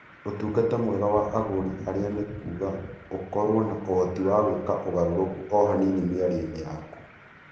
Ũtungata mwega wa agũri arĩa nĩ kuuga ũkorũo na ũhoti wa gwĩka ũgarũrũku o hanini mĩario-inĩ yaku.